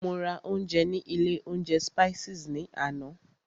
Mo ra ounjẹ ní ilé oúnjẹ Spices ní àná.